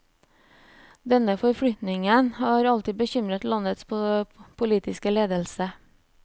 Denne forflytningen har alltid bekymret landets politiske ledelse.